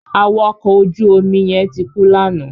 Awakọ̀ ojú omi yẹn ti kú lánàá.